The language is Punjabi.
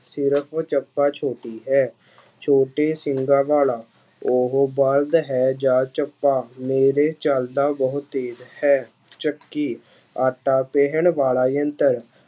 ਸਿਰਫ਼ ਚੱਪਾ ਛੋਟੀ ਹੈ, ਛੋਟੇ ਸਿੰਘਾ ਵਾਲਾ, ਉਹ ਬਲਦ ਹੈ ਜਾਂ ਚੱਪਾ, ਮੇਰੇ ਚੱਲਦਾ ਬਹੁਤ ਤੇਜ ਹੈ, ਚੱਕੀ, ਆਟਾ ਪੀਹਣ ਵਾਲਾ ਯੰਤਰ।